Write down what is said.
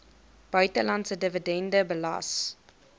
buitelandse dividende belas